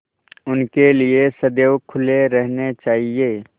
उनके लिए सदैव खुले रहने चाहिए